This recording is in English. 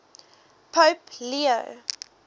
pope leo